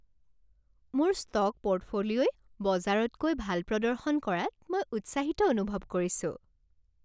মোৰ ষ্ট'ক পৰ্টফলিঅ'ই বজাৰতকৈ ভাল প্ৰদৰ্শন কৰাত মই উৎসাহিত অনুভৱ কৰিছোঁ।